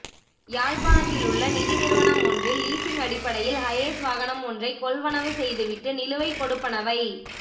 யாழ்ப்பாணத்திலுள்ள நிதி நிறுவனம் ஒன்றில் லீசிங் அடிப்படையில் ஹஏஸ் வாகனம் ஒன்றைக் கொள்வனவு செய்துவிட்டு நிலுவைக் கொடுப்பனவை